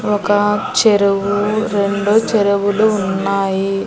ఒక చెరువు రెండు చెరువులు ఉన్నాయి.